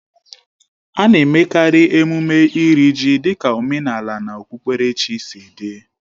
A na-emekarị emume Iri ji dịka omenala na okpukperechi sị dị